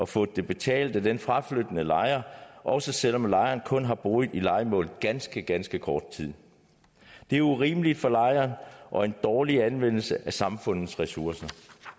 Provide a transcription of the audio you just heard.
fået det betalt af den fraflyttende lejer også selv om lejeren kun har boet i lejemålet ganske ganske kort tid det er urimeligt for lejeren og en dårlig anvendelse af samfundets ressourcer